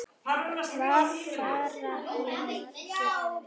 Hvað fara hér margir um?